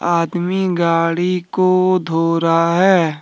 आदमी गाड़ी को धो रहा है ।